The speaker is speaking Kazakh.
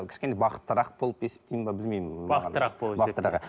кішкене бақыттырақ болып есептейін бе білмеймін